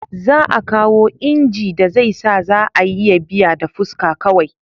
Za a kawo inji da zai sa za a iya biya da fuska kawai